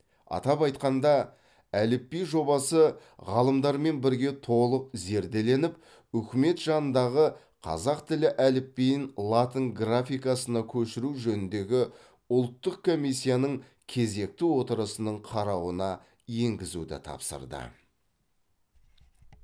атап айтқанда әліпби жобасы ғалымдармен бірге толық зерделеніп үкімет жанындағы қазақ тілі әліпбиін латын графикасына көшіру жөніндегі ұлттық комиссияның кезекті отырысының қарауына енгізуді тапсырды